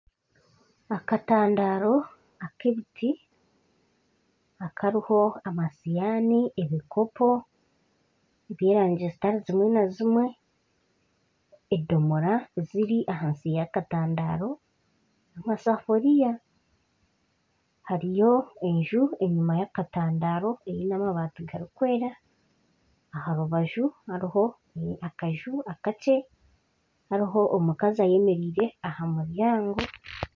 Akatadaro ak'ebiti kariho amashuuhani, ebikopo eby'erangi ezitari zimwe na zimwe edomora eziri ahansi y'akatadaro n'amasafuuriya hariyo enju enyuma y'akatandaro eine amabaati garikwera aha rubaju hariho akanju akakye hariho omukazi ayemereire aha muryango